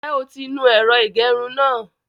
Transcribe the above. Ǹjẹ́ o ti nu ẹ̀rọ ìgẹrun náà?